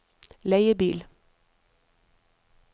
leiebil